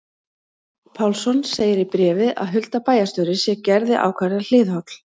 Pálsson segir í bréfi að Hulda bæjarstjóri sé Gerði ákaflega hliðholl.